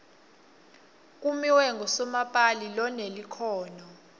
kimiwe unqusomapali lonelukhono